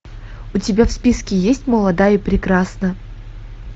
у тебя в списке есть молода и прекрасна